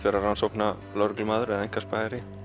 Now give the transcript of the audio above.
vera rannsóknarlögreglumaður eða einkaspæjari